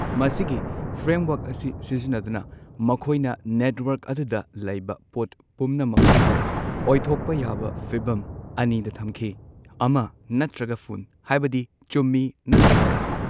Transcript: ꯃꯁꯤꯒꯤ ꯐ꯭ꯔꯦꯝꯋꯔꯛ ꯑꯁꯤ ꯁꯤꯖꯤꯟꯅꯗꯨꯅ ꯃꯈꯣꯏꯅ ꯅꯦꯠꯋꯔꯛ ꯑꯗꯨꯗ ꯂꯩꯕ ꯄꯣꯠ ꯄꯨꯝꯅꯃꯛꯇꯨꯕꯨ ꯑꯣꯏꯊꯣꯛꯄ ꯌꯥꯕ ꯐꯤꯚꯝ ꯑꯅꯤꯗ ꯊꯝꯈꯤ ꯑꯃ ꯅꯠꯇ꯭ꯔꯒ ꯐꯨꯟ ꯍꯥꯏꯕꯗꯤ, ꯆꯨꯝꯃꯤ ꯅꯠꯇ꯭ꯔꯒ ꯂꯥꯜꯂꯤ꯫